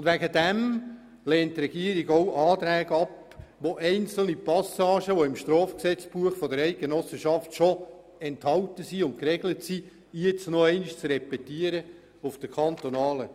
Deswegen lehnt die Regierung Anträge ab, die einzelne Passagen, die im Strafgesetzbuch der Eidgenossenschaft bereits enthalten und geregelt sind, auf der kantonalen